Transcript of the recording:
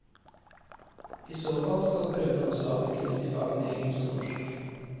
I så fall skal prøven også avvikles i fagene engelsk og norsk.